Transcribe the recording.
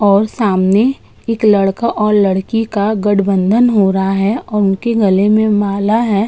और सामने एक लड़का और एक लड़की का गठबंधन हो रहा है और उनके गले में माला है।